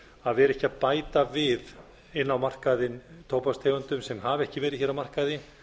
að vera ekki að bæta við inn á markaðinn tóbakstegundum sem hafa ekki verið hér á markaði